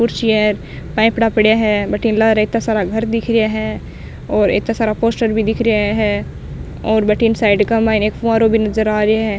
कुर्सी है पाइपरा पड़ेया है भटीन लारा इत्ता सारा घर दिख रेहा है और इत्ता सारा पोस्टर भी दिख रेहा है और भटीन साइड का माइन एक फुहारों भी नजर आ रेहा है।